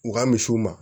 U ka misiw ma